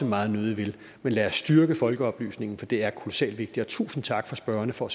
meget nødig vil man lad os styrke folkeoplysningen for det er kolossalt vigtigt og tusind tak til spørgerne for